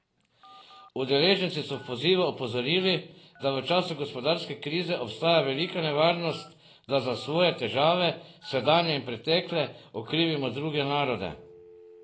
Udeleženci so v pozivu opozorili, da v času gospodarske krize obstaja velika nevarnost, da za svoje težave, sedanje in pretekle, okrivimo druge narode.